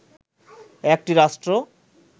একটি রাষ্ট্র